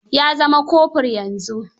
Ya zama kofur yanzu.